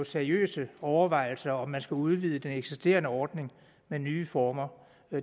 seriøse overvejelser om om man skal udvide den eksisterende ordning med nye former